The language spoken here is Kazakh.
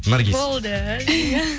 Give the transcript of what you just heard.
наргиз болды иә